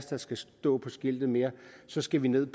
der skal stå på skiltet mere så skal vi ned